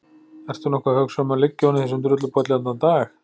Ertu nokkuð að hugsa um að liggja oní þessum drullupolli í allan dag?